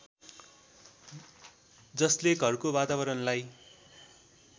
जसले घरको वातावरणलाई